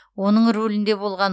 оның рулінде болған